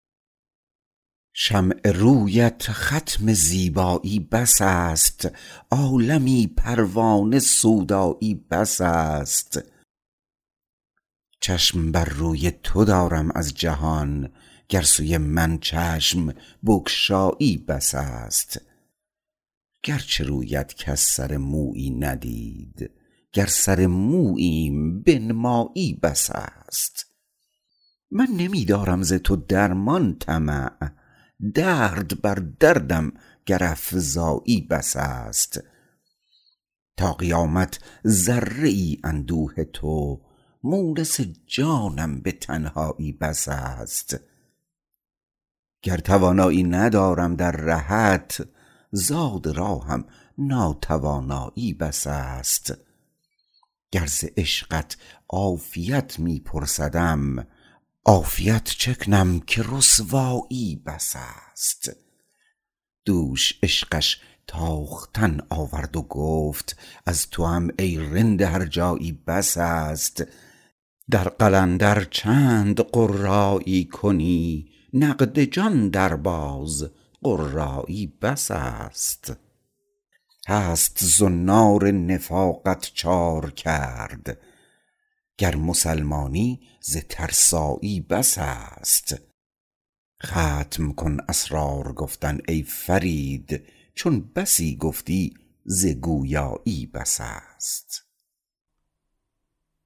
شمع رویت ختم زیبایی بس است عالمی پروانه سودایی بس است چشم بر روی تو دارم از جهان گر سوی من چشم بگشایی بس است گرچه رویت کس سر مویی ندید گر سر موییم بنمایی بس است من نمی دارم ز تو درمان طمع درد بر دردم گر افزایی بس است تا قیامت ذره ای اندوه تو مونس جانم به تنهایی بس است گر توانایی ندارم در رهت زاد راهم ناتوانایی بس است گر ز عشقت عافیت می پرسدم عافیت چه کنم که رسوایی بس است دوش عشقش تاختن آورد و گفت از توام ای رند هرجایی بس است در قلندر چند قرایی کنی نقد جان درباز قرایی بس است هست زنار نفاقت چارکرد گر مسلمانی ز ترسایی بس است ختم کن اسرار گفتن ای فرید چون بسی گفتی ز گویایی بس است